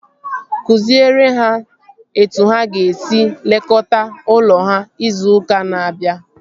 Kụziere ha etu ha ga-esi lekọta ụlọ ha izu ụka na-abịa!